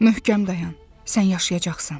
Möhkəm dayan, sən yaşayacaqsan.